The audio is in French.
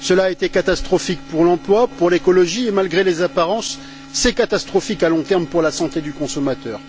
Cela a été catastrophique pour l'emploi, pour l'écologie et, malgré les apparences, c'est catastrophique à long terme pour la santé du consommateur.